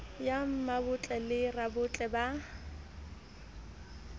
ya mmabotle le rabotle ba